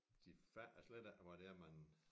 De fatter slet ikke hvad det er man